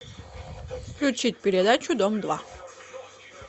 включить передачу дом два